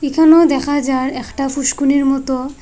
এখানেও দেখা যার একটা পুষ্কনির মতো।